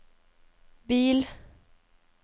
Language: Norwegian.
bil